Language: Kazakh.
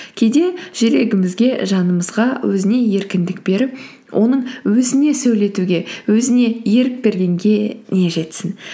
кейде жүрегімізге жанымызға өзіне еркіндік беріп оның өзіне сөйлетуге өзіне ерік бергенге не жетсін